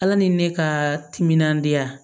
Ala ni ne ka timinandiya